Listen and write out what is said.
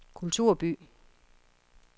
kulturby